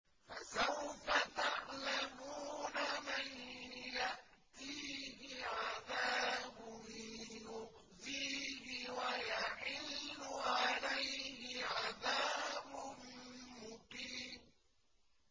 فَسَوْفَ تَعْلَمُونَ مَن يَأْتِيهِ عَذَابٌ يُخْزِيهِ وَيَحِلُّ عَلَيْهِ عَذَابٌ مُّقِيمٌ